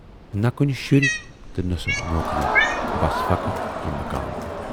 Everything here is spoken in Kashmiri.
نہَ کُنہِ شُرۍ تہٕ نہَ سۅ نوکری، بس فقط یہِ مکان۔